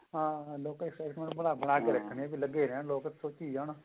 ਹਾਂ ਹਾਂ ਲੋਕਾਂ ਚ ਕੇ ਰੱਖਣੀ ਵੀ ਲੱਗੇ ਰਹਿਣ ਲੋਕ ਸੋਚੀ ਜਾਣ